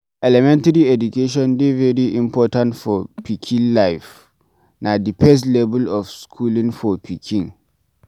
Elementry education dey very important for pikin life, na di first level of schooling for pikin